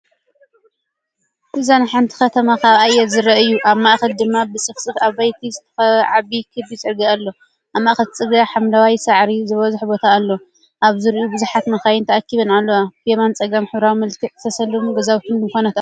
እዚ ንሓንቲ ከተማ ካብ ኣየር ዝርአ እዩ። ኣብ ማእከል ድማ ብጽፉፍ ኣባይቲ ዝተኸበበ ዓቢ ክቢ ጽርግያ ኣሎ። ኣብ ማእከል እቲ ጽርግያ ሓምላይ ሳዕሪ ዝበዝሖ ቦታ ኣሎ፣ ኣብ ዙርያኡ ብዙሓት መካይን ተኣኪበንኣለዋ። ብየማንን ጸጋምን ብሕብራዊ መልክዕ ዝተሰለሙ ገዛውትን ድኳናትን ኣለዉ።